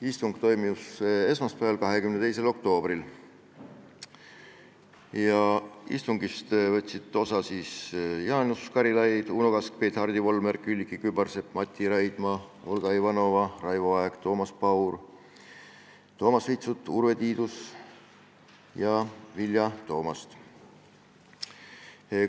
Istung toimus esmaspäeval, 22. oktoobril ja sellest võtsid osa Jaanus Karilaid, Uno Kaskpeit, Hardi Volmer, Külliki Kübarsepp, Mati Raidma, Olga Ivanova, Raivo Aeg, Toomas Paur, Toomas Vitsut, Urve Tiidus ja Vilja Toomast.